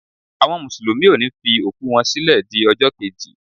Àwọn mùsùlùmí ọ ni fi òkú wọ́n sílẹ di ọjọ́ keji.